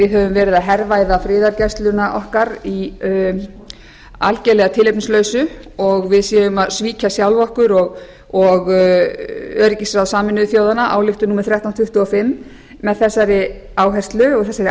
verið að hervæða friðargæsluna okkar að algerlega tilefnislausu og við séum að svíkja sjálf okkur og öryggisráð sameinuðu þjóðanna ályktun númer þrettán hundruð tuttugu og fimm með þessari áherslu og